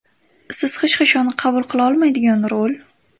Siz hech qachon qabul qila olmaydigan rol?